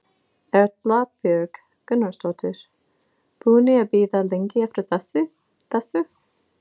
Erla Björg Gunnarsdóttir: Búnir að bíða lengi eftir þessu?